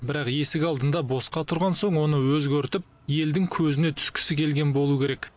бірақ есік алдында босқа тұрған соң оны өзгертіп елдің көзіне түскісі келген болу керек